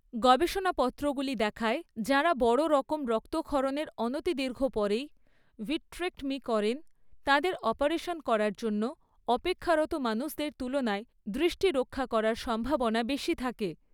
গবেষনাপত্রগুলি দেখায়, যাঁরা বড় রকম রক্তক্ষরণের অনতিদীর্ঘ পরেই ভিট্রেক্টমি করেন, তাঁদের অপারেশন করার জন্য অপেক্ষারত মানুষদের তুলনায় দৃষ্টি রক্ষা করার সম্ভাবনা বেশি থাকে।